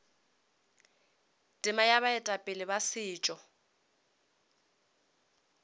tema ya baetapele ba setšo